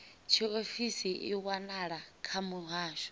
tshiofisi i wanala kha muhasho